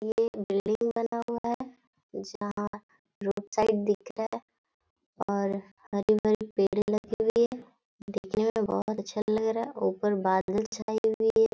यह एक बिल्डिंग बना हुआ है यहां रोड साइड दिख रहा है और हरे-भरे पेड़ लगे हुए हैं नीचे में बहुत अच्छा लग रहा है ऊपर बादल छाए हुए हैं।